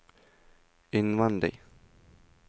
innvendig